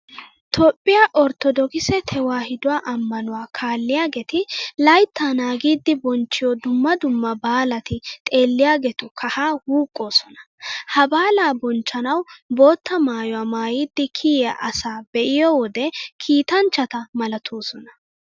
Toophphiya orttodookise tewaahiduwa ammanuwa kaalliyageeti layttaa naagidi bonchchiyo dumma dumma baalati xeelliyageetu kahaa wuuqqoosona. Ha baalaa bonchchanawu bootta maayuwa maayidi kiyiya asaa be'iyo wode kiitanchchata malatoosona.